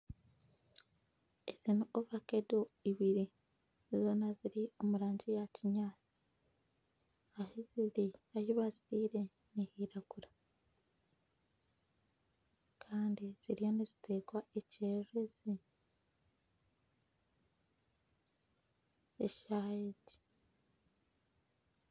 Ezi ni ovakedo ibiri, zoona ziri omu rangi ya kinyaasi, ahi ziri ahi baziteire nihairagura kandi ziriyo niziteerwa ekyererezi eshaaha egi.